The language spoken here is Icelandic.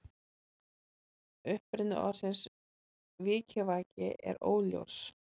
Uppruni orðsins vikivaki er óljós.